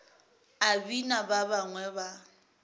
a bina ba bangwe ba